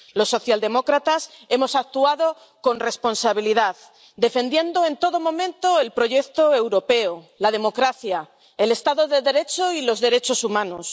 Los socialdemócratas hemos actuado con responsabilidad, defendiendo en todo momento el proyecto europeo, la democracia, el estado de Derecho y los derechos humanos.